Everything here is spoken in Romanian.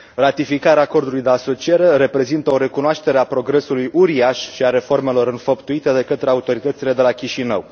Ratificarea Acordului de asociere reprezintă o recunoaștere a progresului uriaș și a reformelor înfăptuite de către autoritățile de la Chișinău.